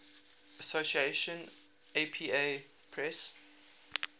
association apa press